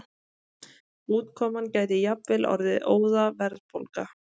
Útkoman gæti jafnvel orðið óðaverðbólga.